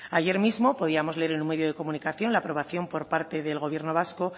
ayer mismo podíamos leer en un medio de comunicación la aprobación por parte del gobierno vasco